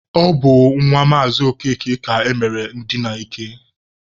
Ọ bụ nwa Maazị Okeke ka emere ndina ike.